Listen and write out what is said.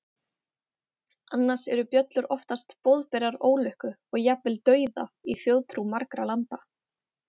annars eru bjöllur oftast boðberar ólukku og jafnvel dauða í þjóðtrú margra landa